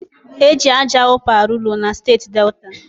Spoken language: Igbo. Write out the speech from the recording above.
E ji aja ụpa arụ ụlọ na steeti Delta.